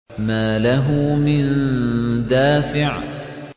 مَّا لَهُ مِن دَافِعٍ